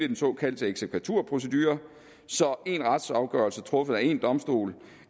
den såkaldte eksekvaturprocedure så en retsafgørelse truffet af en domstol